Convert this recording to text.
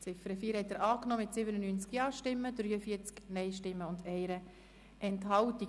Sie haben die Ziffer 4 mit 97 Ja- gegen 43 Nein-Stimmen bei 1 Enthaltung angenommen.